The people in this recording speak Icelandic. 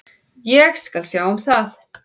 Ég skal sjá um það.